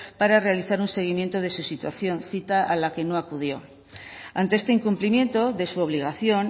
para realizar un seguimiento de su situación cita a la que no acudió ante este incumplimiento de su obligación